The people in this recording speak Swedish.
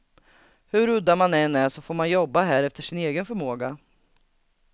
Hur udda man än är så får man jobba här efter sin egen förmåga.